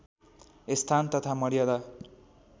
स्थान तथा मर्यादा